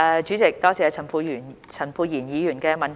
主席，多謝陳沛然議員的補充質詢。